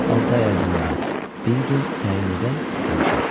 Altı ay ərzində bir gün təyin edək, görüşək.